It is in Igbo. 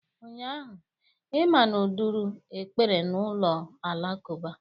Ụnyaahụ, imamu duru ekpere n'ụlọ alakụba.